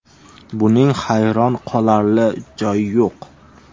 Buning hayron qolarli joyi yo‘q.